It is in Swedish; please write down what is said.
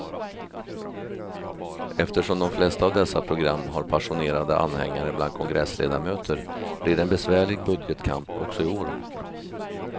Eftersom de flesta av dessa program har passionerade anhängare bland kongressledamöter blir det en besvärlig budgetkamp också i år.